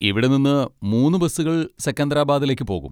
ഇവിടെ നിന്ന് മൂന്ന് ബസ്സുകൾ സെക്കന്ദരാബാദിലേക്ക് പോകും.